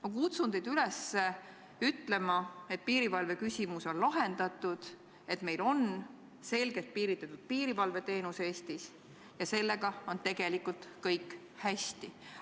Ma kutsun teid üles ütlema, et piirivalveküsimus on lahendatud, et meil Eestis on selgelt piiritletud piirivalveteenus ja sellega on tegelikult kõik hästi.